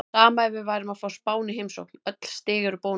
Sama ef við værum að fá Spán í heimsókn, öll stig eru bónus.